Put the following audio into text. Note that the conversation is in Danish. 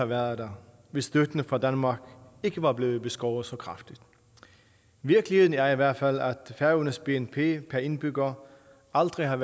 været der hvis støtten fra danmark ikke var blevet beskåret så kraftigt virkeligheden er i hvert fald at færøernes bnp per indbygger aldrig har